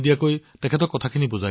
কিন্তু আপুনি যি এই মাৰ কথা কথা নহয়